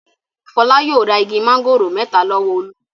Fọlá yóò ra igi máńgòrò mẹ́ta lọ́wọ́ Olú.